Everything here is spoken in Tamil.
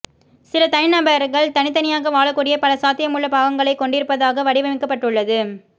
சில தனிநபர்கள் தனித்தனியாக வாழக்கூடிய பல சாத்தியமுள்ள பாகங்களைக் கொண்டிருப்பதாக வடிவமைக்கப்பட்டுள்ளது